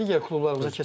Digər klublarımıza keçək.